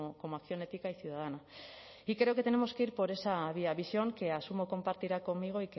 como acción ética y ciudadana y creo que tenemos que ir por esa vía visión que asumo compartirá conmigo